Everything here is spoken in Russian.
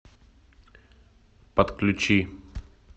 подключи